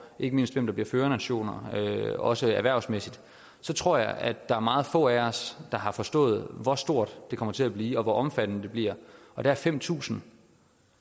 og ikke mindst hvem der bliver førernationer også erhvervsmæssigt så tror jeg at der er meget få af os der har forstået hvor stort det kommer til at blive og hvor omfattende det bliver der er fem tusind